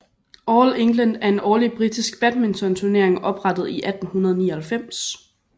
All England er en årlig britisk badminton turnering oprettet i 1899